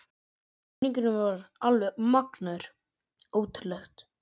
Stuðningurinn var alveg magnaður, ótrúlegt.